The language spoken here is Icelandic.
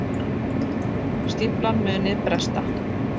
Stíflan muni bresta